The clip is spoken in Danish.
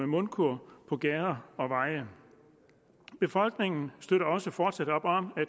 mundkurv på gader og veje befolkningen støtter også fortsat op om